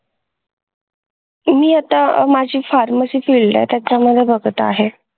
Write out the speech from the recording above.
मी आता माझी pharmacy field आहे त्याच्या मध्ये बघत आहे